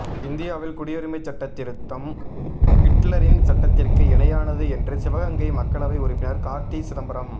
இந்தியாவில் குடியுரிமைச்சட்டத்திருத்தம் ஹிட்லரின் சட்டத்திற்கு இணையானது என்று சிவகங்கை மக்களவை உறுப்பினா் காா்த்தி சிதம்பரம்